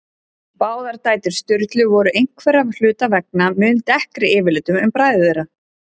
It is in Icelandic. Báðar dætur Sturlu voru einhverra hluta vegna mun dekkri yfirlitum en bræður þeirra.